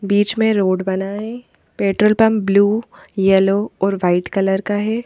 बीच में रोड बना है पेट्रोल पंप ब्लू यलो और वाइट कलर का है।